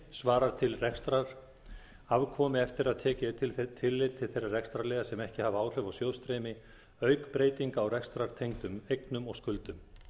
svarar til rekstrarafkomu eftir að tekið er tillit til þeirra rekstrarliða sem ekki hafa áhrif á sjóðstreymi auk breytinga á rekstrartengdum eignum og skuldum